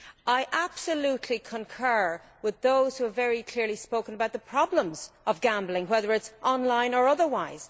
I absolutely concur with those who have very clearly spoken about the problems of gambling, whether online or otherwise.